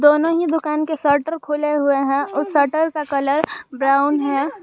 दोनों ही दुकान के शटर खुले हुए हैं उस शटर का कलर ब्राउन है।